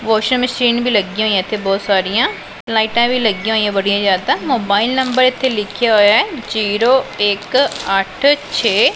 washing machine ਵੀ ਲੱਗਿਆਂ ਹੋਈਆਂ ਇੱਥੇ ਬੋਹਤ ਸਾਰੀਆਂ ਲਾਈਟਾਂ ਵੀ ਲੱਗੀਆਂ ਹੋਈਆਂ ਬੜੀਆ ਜਿਆਦਾਂ ਮੋਬਾਈਲ ਨੰਬਰ ਇੱਥੇ ਲਿੱਖਿਆ ਹੋਇਆ ਹੈ ਜ਼ੀਰੋ ਇੱਕ ਅੱਠ ਛੇ --